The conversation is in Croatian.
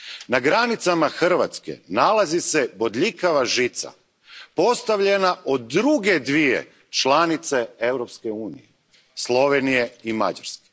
Na granicama Hrvatske nalazi se bodljikava žica postavljena od druge dvije članice Europske unije, Slovenije i Mađarske.